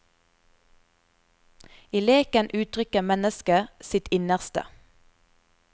I leken uttrykker mennesket sitt innerste.